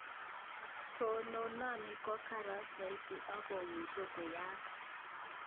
Tononani ko kara saiti ak komsche konyaak